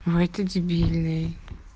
вай ты дебильный